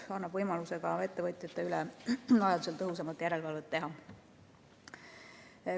See annab võimaluse vajaduse korral ettevõtjate üle tõhusamat järelevalvet teha.